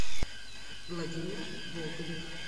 владимир болдырев